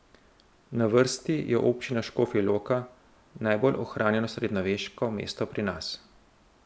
Na vrsti je Občina Škofja Loka, najbolj ohranjeno srednjeveško mesto pri nas.